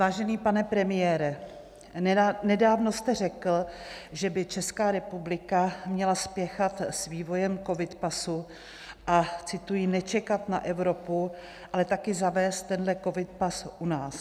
Vážený pane premiére, nedávno jste řekl, že by Česká republika měla spěchat s vývojem covid pasu a - cituji: "nečekat na Evropu, ale také zavést tenhle covid pas u nás".